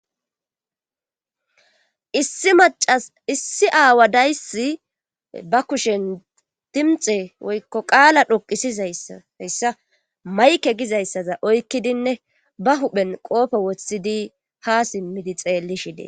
Issi macas issi aawa dayssi ba kushen dimxe woykko qaala dhoqisizayayssa mayke gizayssaza oykkidinne ba huphen qoope woththidi ha simmidi xeelli shidee.